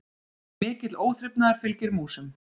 Mikill óþrifnaður fylgir músum.